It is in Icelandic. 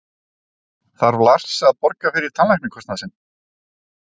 Þarf Lars að borga fyrir tannlæknakostnað sinn?